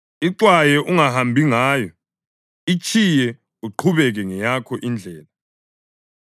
Ixwaye, ungahambi ngayo; itshiye uqhubeke ngeyakho indlela.